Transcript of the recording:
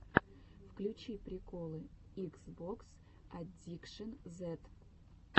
включи приколы икс бокс аддикшэн зед